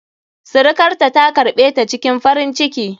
Sirikarta ta karɓe ta cikin farin ciki.